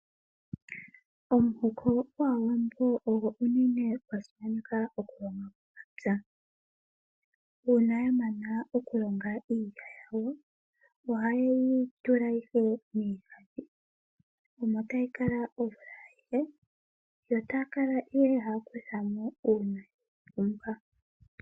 Omuhoko gwAawambo ogo unene gwa simaneka okulonga momapya. Uuna ya mana okulonga iilya yawo oha ye yi tula ihe miigandhi, omo ta yi kala omvula ayihe, yo taya kala ihe ha ya kutha mo uuna ye yi pumbwa.